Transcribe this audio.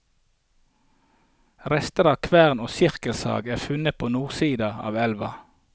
Rester av kvern og sirkelsag er funnet på nordsida av elva.